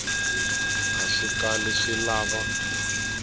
a swi kali swi lava